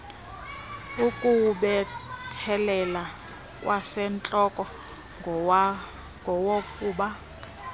ukuwubethelela kwasentloko ngowokuba